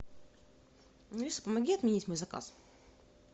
алиса помоги отменить мой заказ